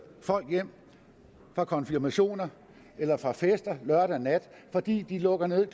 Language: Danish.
folk hjem fra konfirmationer eller fra fester lørdag nat de lukker nemlig